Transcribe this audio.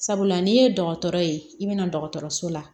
Sabula n'i ye dɔgɔtɔrɔ ye i bɛna dɔgɔtɔrɔso la